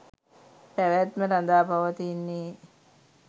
පැවැත්ම රඳා පවතින්නේ